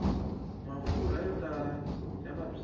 mafurha yo tala ya vabyisa